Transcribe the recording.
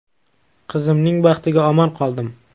Qizimning baxtiga omon qoldim.